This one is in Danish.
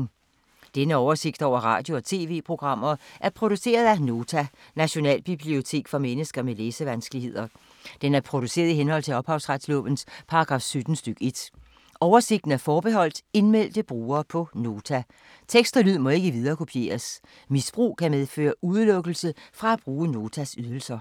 Denne oversigt over radio og TV-programmer er produceret af Nota, Nationalbibliotek for mennesker med læsevanskeligheder. Den er produceret i henhold til ophavsretslovens paragraf 17 stk. 1. Oversigten er forbeholdt indmeldte brugere på Nota. Tekst og lyd må ikke viderekopieres. Misbrug kan medføre udelukkelse fra at bruge Notas ydelser.